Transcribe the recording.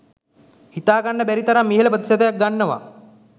හිතාගන්න බැරි තරම් ඉහළ ප්‍රතිශතයක් ගන්නවා